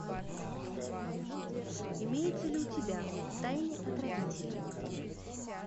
имеется ли у тебя в тайне от родителей